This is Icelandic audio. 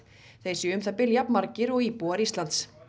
þeir séu um það bil jafn margir og íbúar Íslands